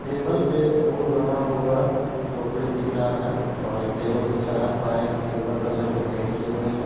Table पे फूल बना हुआ टोकरी दिख रहा है और टेबल के चार पाए सिल्वर कलर से पैंट किए हुए हैं।